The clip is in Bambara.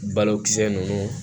Balokisɛ nunnu